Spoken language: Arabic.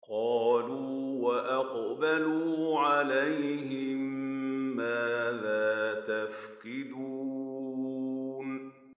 قَالُوا وَأَقْبَلُوا عَلَيْهِم مَّاذَا تَفْقِدُونَ